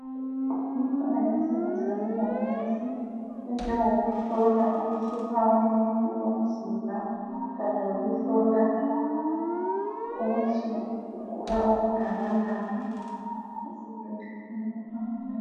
Ikhona imisebenzi yabo mongikazi enjengoku hlola ukutshisa komuntu komzimba kanye lokuhlola ukuthi ugula okungakanani.